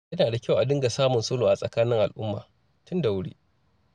Yana da kyau a dinga samun sulhu a tsakanin al'umma, tun da wuri.